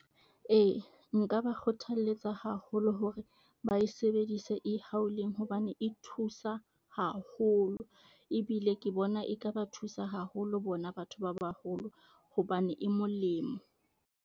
Ee nka ba kgothaletsa haholo hore bae sebedise hobane e thusa haholo, ebile ke bona e ka ba thusa haholo bona batho ba baholo hobane e molemo.